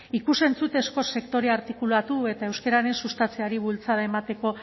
ikus entzunezko sektorea artikulatu eta euskararen sustatzeari bultzada emateko